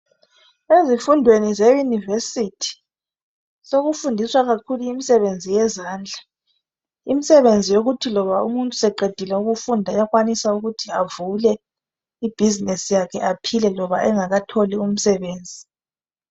Ezifundweni ze yunivesithi sekufundiswa kakhulu imisebenzi yezandla imisebenzi yokuthi loba umuntu seqedile ukufunda uyakwanisa ukuthi avule I business yakhe aphile loba engakatholi umsebenzi.